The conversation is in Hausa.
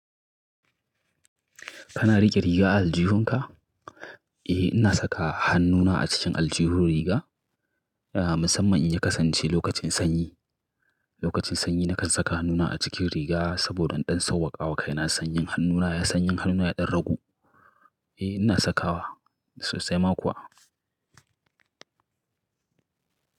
Kana riƙe riga a aljihunka? Eh ina saka hannuna a cikin aljihun riga, musamman in ya kasance lokacin sanyi. Lokacin sanyi nakan saka hannuna a cikin riga saboda iɗan sauƙaƙawa kaina sanyin hannuna, sanyin hannuna ya ɗan ragu. Eh ina sakawa sosai ma kuwa.